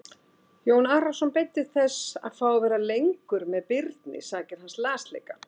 Jón Arason beiddist þess að fá að vera lengur með Birni sakir hans lasleika.